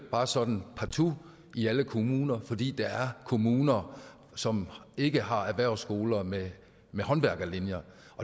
bare sådan partout at i alle kommuner fordi der er kommuner som ikke har erhvervsskoler med med håndværkerlinjer